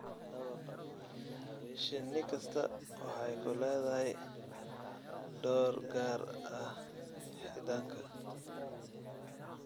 Shinni kastaa waxay ku leedahay door gaar ah xiidanka.